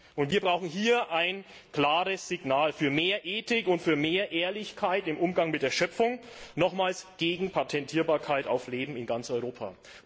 Und wir brauchen hier ein klares Signal für mehr Ethik und für mehr Ehrlichkeit im Umgang mit der Schöpfung nochmals gegen Patentierbarkeit auf Leben in ganz Europa.